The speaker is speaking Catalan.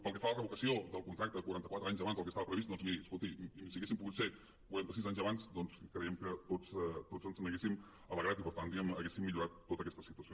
pel que fa a la revocació del contracte quaranta quatre anys abans del que estava previst doncs miri escolti si haguessin pogut ser quaranta sis anys abans creiem que tots ens n’haguéssim alegrat i per tant diguem ne haguéssim millorat tota aquesta situació